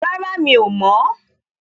Rárá, Mi ò mọ̀.